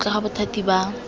kwa ntle ga bothati ba